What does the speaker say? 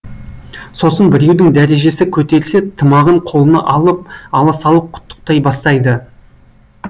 сосын біреудің дәрежесі көтерілсе тымағын қолына ала салып құттықтай бастайды